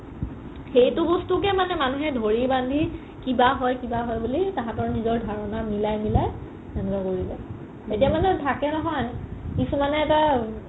সেইটো বস্তুকে মানুহে ধৰি বন্ধি কিবা হয় কিবা হয় বুলি তাহাতৰ নিজৰ ধাৰণা মিলাই মিলাই সেনেকোৱা কৰি দিলে এতিয়া মানে থাকে নহয় কিছুমানে এটা